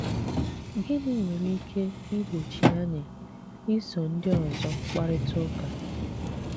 Gịnị nwere ike ìgbòchị́ anyị ísò ndị ọzọ́ kparịta ụka?